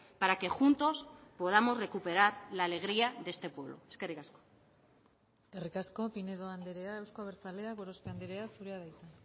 para que juntos podamos recuperar la alegría de este pueblo eskerrik asko eskerrik asko pinedo andrea euzko abertzaleak gorospe andrea zurea da hitza